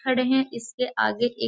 खड़े है इसके आगे एक --